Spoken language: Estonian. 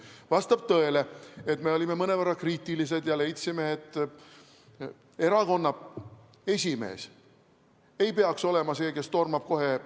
Vastab tõele, et me olime mõnevõrra kriitilised ja leidsime, et erakonna esimees ei peaks olema see, kes kohe tormab.